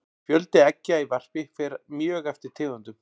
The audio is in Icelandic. fjöldi eggja í varpi fer mjög eftir tegundum